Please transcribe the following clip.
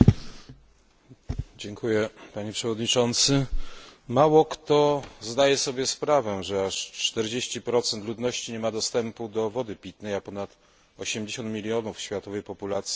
Mało kto zdaje sobie sprawę, że aż 40 ludności nie ma dostępu do wody pitnej, a ponad 80 mln światowej populacji nadal korzysta z niezdrowych, skażonych źródeł wody.